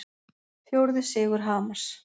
Fjórði sigur Hamars